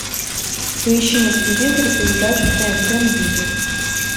поищи на телевизоре передачу тнт мьюзик